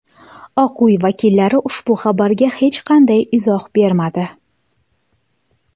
Oq uy vakillari ushbu xabarga hech qanday izoh bermadi.